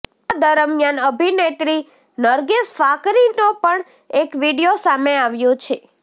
આ દરમિયાન અભિનેત્રી નરગિસ ફાકરીનો પણ એક વીડિયો સામે આવ્યો છે